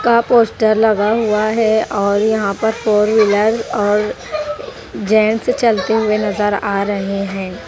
का पोस्टर लगा हुआ है और यहाँ पर फोर व्हीलर और जेंट्स चलते हुए नजर आ रहे हैं।